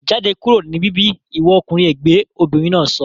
Jáde kúrò ní bíbí ìwọ ọkùnrin ègbẹ́! Obìnrin náà sọ